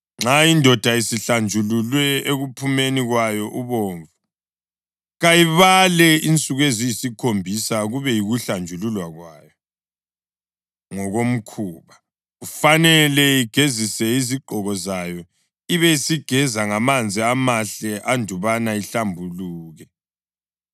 Nxa indoda isihlanjululwe ekuphumeni kwayo ubovu, kayibale insuku eziyisikhombisa kube yikuhlanjululwa kwayo ngokomkhuba; kufanele igezise izigqoko zayo, ibisigeza ngamanzi amahle andubana ihlambuluke.